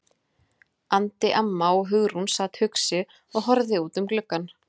andi amma og Hugrún sat hugsi og horfði út um gluggann.